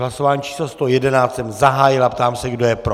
Hlasování číslo 111 jsem zahájil a ptám se, kdo je pro.